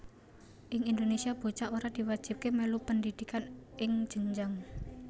Ing Indonésia bocah ora diwajibaké mèlu pendhidhikan ing jenjang